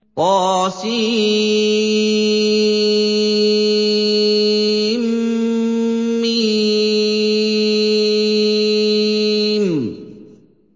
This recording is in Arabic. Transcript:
طسم